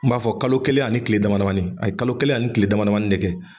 N b'a fɔ kalo kelen ani ni kile dama damani, a ye kalo kelen ani ni kile dama damani de kɛ